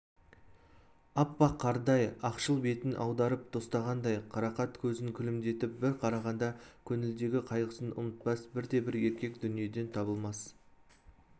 аппақ қардай ақшыл бетін аударып тостағандай қарақат көзін күлімдетіп бір қарағанда көңілдегі қайғысын ұмытпас бірде-бір еркек дүниеден табылмас